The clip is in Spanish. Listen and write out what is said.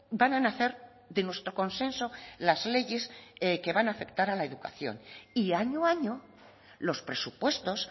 van a nacer de nuestro consenso las leyes que van a afectar a la educación y año a año los presupuestos